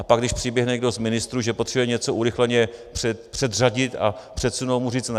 A pak když přiběhne někdo z ministrů, že potřebuje něco urychleně předřadit a předsunout, mu říct ne.